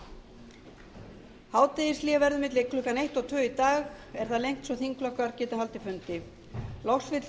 kvöld hádegishlé verður milli klukkan eitt og tvö í dag er það lengt svo þingflokkar geti haldið fundi loks vill